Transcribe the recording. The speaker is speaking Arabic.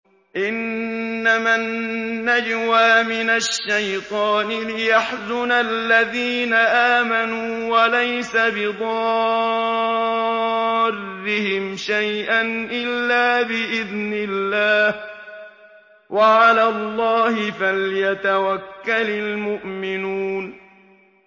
إِنَّمَا النَّجْوَىٰ مِنَ الشَّيْطَانِ لِيَحْزُنَ الَّذِينَ آمَنُوا وَلَيْسَ بِضَارِّهِمْ شَيْئًا إِلَّا بِإِذْنِ اللَّهِ ۚ وَعَلَى اللَّهِ فَلْيَتَوَكَّلِ الْمُؤْمِنُونَ